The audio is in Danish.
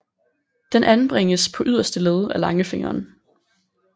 Den anbringes på yderste led af langfingeren